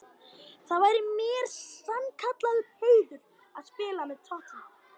Það væri mér sannkallaður heiður að spila með Totti.